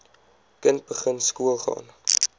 kind begin skoolgaan